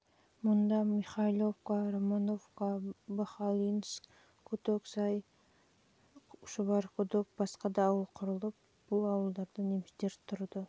мұнда жылы михайловка жылы романовка жылы быхалинск жылы кутоксай шұбарқұдық және басқа да ауыл құрылып бұл ауылдарда немістер